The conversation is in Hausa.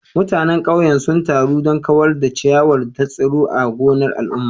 Mutanen ƙauyen sun taru don kawar da ciyawar da ta tsiro a gonar al'umma.